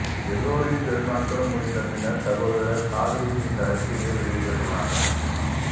எல்லோரின் பெருநாட்களும் முடிந்த பின்னர் சகோதரர் சாலிஹு இந்த அறிக்கையை வெளியிட்டிருக்கலாமே